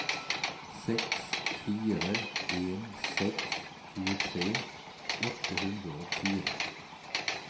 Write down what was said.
seks fire en seks tjuetre åtte hundre og fire